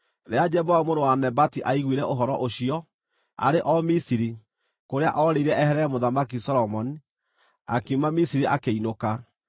Rĩrĩa Jeroboamu mũrũ wa Nebati aiguire ũhoro ũcio (aarĩ o Misiri, kũrĩa oorĩire eherere Mũthamaki Solomoni), akiuma Misiri, akĩinũka.